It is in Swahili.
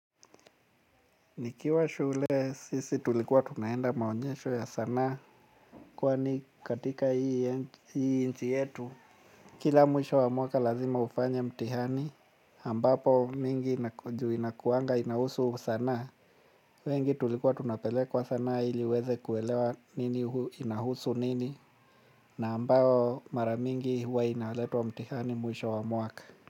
Nikiwa shule sisi tulikuwa tunaenda maonyesho ya sanaa. Kwani katika hii nchi yetu kila mwisho wa mwaka lazima ufanye mtihani ambapo mingi juu inakuanga inahusu sanaa. Wengi tulikuwa tunapelekwa sanaa iliweze kuelewa nini inahusu nini. Na ambao maramingi huwa inaheleto wa mtihani mwisho wa mwaka.